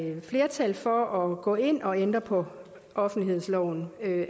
flertal for at gå ind og ændre på offentlighedsloven